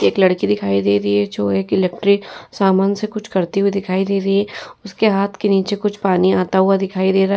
एक लड़की दिखाई दे रही है जो एक इलेक्ट्रिक सामान से कुछ करते हुए दिखाई दे रही है। उसके हाथ के नीचे कुछ पानी आता हुआ दिखाई दे रहा है।